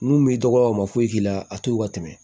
N'u m'i dɔgɔ o ma foyi k'i la a toyi ka tɛmɛ